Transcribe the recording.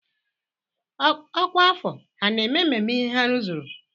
Ọkwà afọ ha na-eme mmemme ihe ha rụzuru?